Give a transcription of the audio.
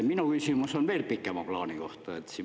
Minu küsimus on veel pikema plaani kohta.